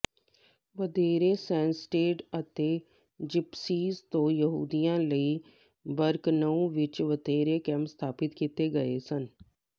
ਥਰੇਰੇਸੈਨਸਟੈਡ ਅਤੇ ਜਿਪਸੀਜ਼ ਤੋਂ ਯਹੂਦੀਆਂ ਲਈ ਬਰਕਨਊ ਵਿਚ ਵੱਖਰੇ ਕੈਂਪ ਸਥਾਪਿਤ ਕੀਤੇ ਗਏ ਸਨ